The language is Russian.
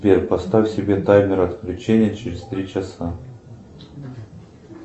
сбер поставь себе таймер отключения через три часа